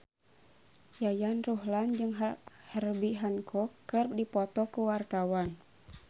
Yayan Ruhlan jeung Herbie Hancock keur dipoto ku wartawan